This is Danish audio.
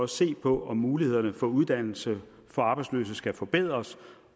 se på om mulighederne for uddannelse for arbejdsløse skal forbedres